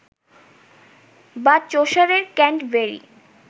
বা চসারের ক্যাণ্টবেরি